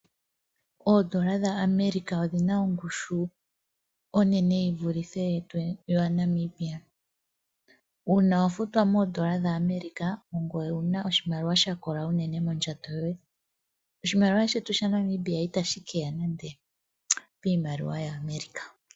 Oodola dha America odhina ongushu onene yi vulithe pudhetu dha Namibia. Uuna wa futwa moodola dha America ongoye wuna oshimaliwa shakola unene mondjato yoye. Oshimaliwa shetu sha Namibia itashi ita shi keya nande miimaliwa ya America.